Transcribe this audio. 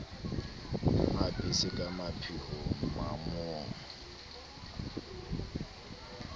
mo apese ka mapheo manong